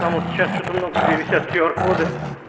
потому что сейчас что-то много где висят кю ар коды